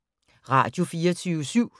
Radio24syv